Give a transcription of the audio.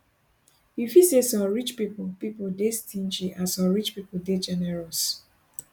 you fit say some rich pipo pipo dey stingy and some rich pipo dey generous